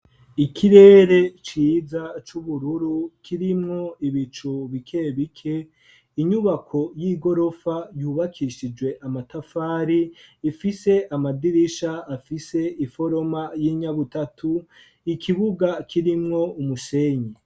Ikirere ciza c'ubururu kirimwo ibicu bike bike, inyubako y'igorofa yubakishijwe amatafari ifise amadirisha afise iforoma y'inyabutatu, ikibuga kirimwo umusenyi.